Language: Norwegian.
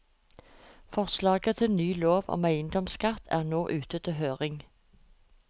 Forslaget til ny lov om eiendomsskatt er nå ute til høring.